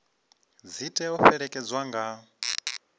dzi tea u fhelekedzwa nga